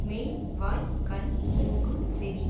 மெய் வாய் கண் மூக்கு செவி